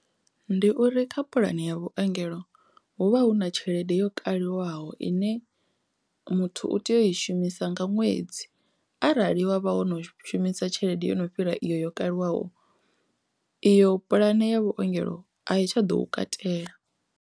Ndi uri kha puḽani ya vhuengelo hu vha hu na tshelede yo kaliwaho ine muthu u tea u i shumisa nga ṅwedzi arali wavha wo no shumisa tshelede yo no fhira iyo yo kaliwaho iyo puḽane ya vhuongelo a thi tsha ḓo u katela.